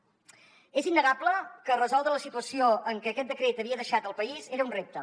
és innegable que resoldre la situació en què aquest decret havia deixat el país era un repte